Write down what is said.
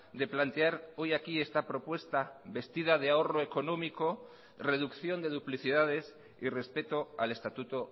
de plantear hoy aquí esta propuesta vestida de ahorro económico reducción de duplicidades y respeto al estatuto